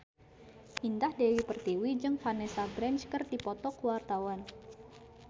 Indah Dewi Pertiwi jeung Vanessa Branch keur dipoto ku wartawan